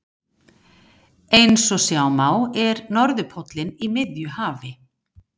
Eins og sjá má er norðurpóllinn í miðju hafi.